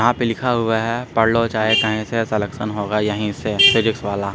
यहाँ पे लिखा हुआ है पढ़लो चाहें कहीं से सिलेक्शन होगा यहीं से फिजिक्स वाला।